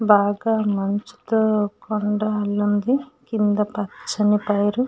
బాగా మంచుతో కొండ లాగా కింద పచ్చని పైరు.